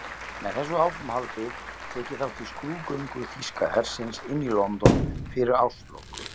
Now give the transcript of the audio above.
Með þessu áframhaldi tek ég þátt í skrúðgöngu þýska hersins inn í London fyrir árslok.